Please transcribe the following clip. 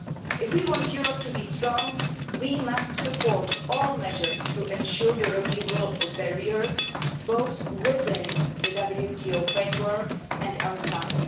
If we want Europe to be strong, we must support all measures to ensure the removal of barriers both within the WTO framework and outside.